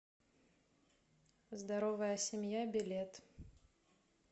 здоровая семья билет